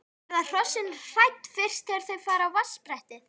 En verða hrossin hrædd fyrst þegar þau fara á vatnsbrettið?